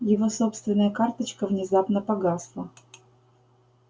его собственная карточка внезапно погасла